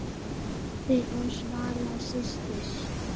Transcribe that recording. Pabbi og Svala systir.